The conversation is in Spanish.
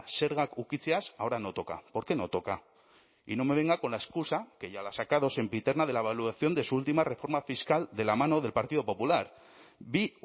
zergak ukitzeaz ahora no toca por qué no toca y no me venga con la excusa que ya la ha sacado sempiterna de la evaluación de su última reforma fiscal de la mano del partido popular bi